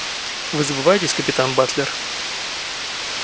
вы забываетесь капитан батлер